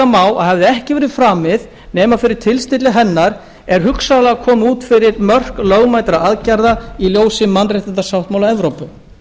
má að hefði ekki verið framið nema fyrir tilstilli hennar er hugsanlega komið út fyrir mörk lögmætra aðgerða í ljósi mannréttindasáttmála evrópu